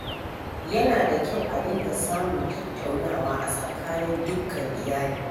Yana da kyau a dinga samun tattaunawa a tsakanin dukkan iyali.